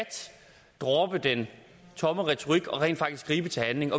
droppe den tomme retorik og rent faktisk gribe til handling